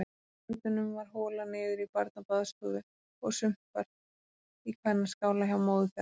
Börnunum var holað niður í barnabaðstofu og sumpart í kvennaskála hjá móður þeirra.